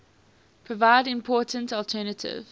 provide important alternative